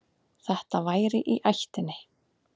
Þetta væri í ættinni.